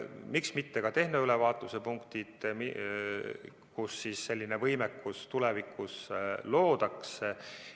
Miks mitte ka tehnoülevaatuse punktid, kus selline võimekus tulevikus luuakse.